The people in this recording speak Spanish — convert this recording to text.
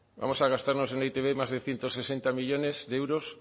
vamos a gastarnos en e i te be más de ciento sesenta millónes de euros